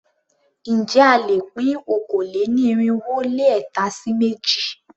Ǹjẹ́ a lè pín okòó-lé-ní-irínwó-lé-ẹ̀ta sí méjì?